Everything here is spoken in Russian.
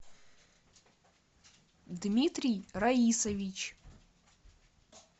дмитрий раисович